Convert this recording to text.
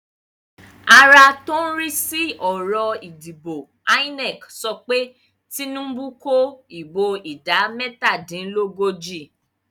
Ara tí ń rí sí ọ̀rọ̀ ìdìbò INEC sọ pé Tinubu kó ìbò ìdá mẹ́tàdínlógójì nígbà